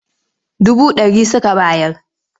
Dubu ɗari suka bayar.